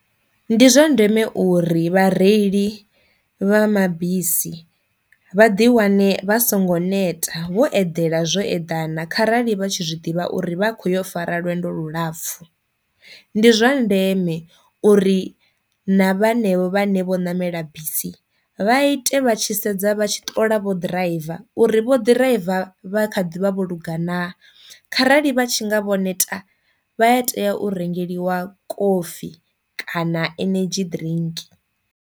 Ndi zwa ndeme uri vha reili vha mabisi vha ḓi wane vha songo neta vho edela zwo eḓana kharali vha tshi zwiḓivha uri vha khou yo fara lwendo lu lapfhu, ndi zwa ndeme uri na vhanevho vhane vho ṋamela bisi vha ite vha tshi sedza vha tshi ṱola vho ḓiraiva uri vho ḓiraiva vha kha ḓivha vho lungana, kharali vha tshi nga vho neta vha a tea u rengeliwa kofi kana energy drink.